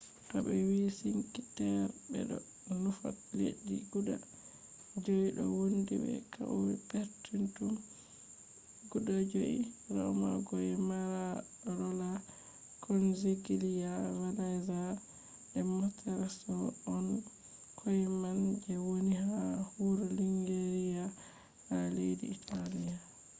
to ɓe wi sink terre ɓe ɗo nufa leddi guda 5 ɗo wondi be kauye perpetum guda joi riyomagoyer manarola konigliya venaza be monterosso on kauyeman je woni ha wuro liguriya ha leddi italiya